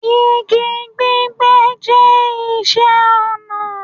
Igi gbígbẹ́ jẹ́ iṣẹ́ ọnà.